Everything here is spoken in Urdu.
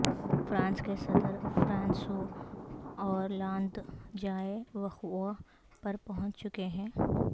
فرانس کے صدر فرانسوا اولاند جائے وقوعہ پر پہنچ چکے ہیں